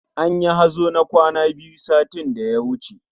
Anyi hazo na kwana biyu satin da ya wuce